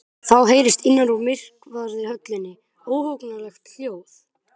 Þá heyrist innan úr myrkvaðri höllinni óhugnanlegt hljóð.